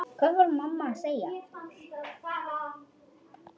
Hvað var mamma að segja?